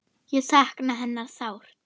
Ég sakna hennar sárt.